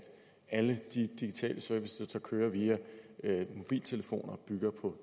alle de digitale servicer der kører via mobiltelefoner bygger på